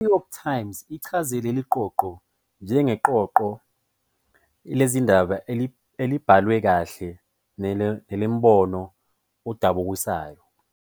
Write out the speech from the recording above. "I-New York Times" ichaze leli qoqo "njengeqoqo lezindaba elibhalwe kahle nelinombono odabukisayo".